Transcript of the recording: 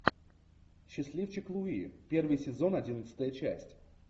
счастливчик луи первый сезон одиннадцатая часть